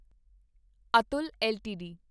Atul LTD